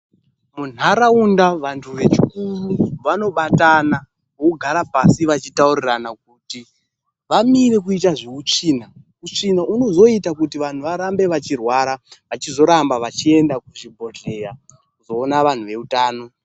Munharaunda vantu vechikuru vanobatana vogara pasi vachitaurirana kuti vamire kuita zveutsvina. Utsvina unozoita kuti vantu varambe vachirwara vachizoramba vachienda kuzvibhedhlera koona vantu vezveutano.